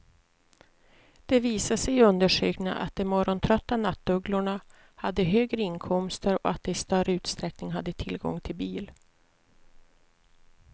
Det visade sig i undersökningen att de morgontrötta nattugglorna hade högre inkomster och att de i större utsträckning hade tillgång till bil.